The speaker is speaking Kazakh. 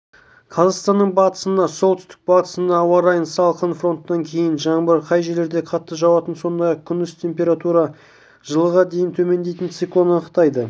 қазақстанның батысында солтүстік-батысында ауа райын салқын фронттан кейін жаңбыр кей жерлерде қатты жауатын сондай-ақ күндіз температура жылыға дейін төмендейтін циклон анықтайды